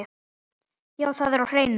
Já, það er á hreinu.